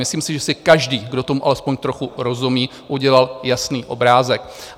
Myslím si, že si každý, kdo tomu alespoň trochu rozumí, udělal jasný obrázek.